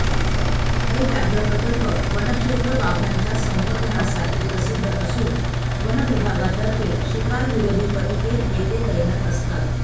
हे व्याघ्र प्रकल्प वनक्षेत्र वाघांच्या संवर्धनासाठी प्रसिद्ध असून वनविभागातर्फे शिकारविरोधी पथके येथे तैनात असतात